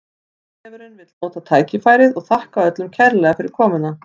Vísindavefurinn vill nota tækifærið og þakka öllum kærlega fyrir komuna!